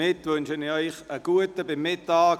Nun wünsche ich Ihnen einen guten Appetit.